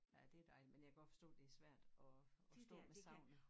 Nå ja det dejligt men jeg kan godt forstå det er svært at at stå med savnet